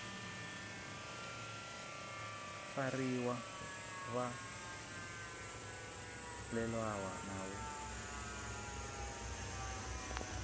fariwa a valelwa na u